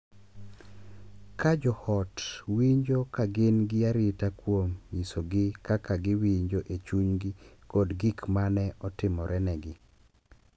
Ka jo ot winjo ka gin gi arita kuom nyisogi kaka giwinjo e chunygi kod gik ma ne otimorene gi,